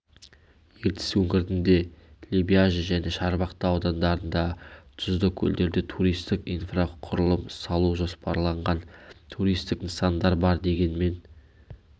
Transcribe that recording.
ертіс өңірінде лебяжі және шарбақты аудандарындағы тұзды көлдерде туристік инфрақұрылым салу жоспарланған туристік нысандар бар дегенмен